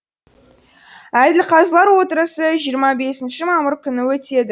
әділқазылар отырысы жиырма бесінші мамыр күні өтеді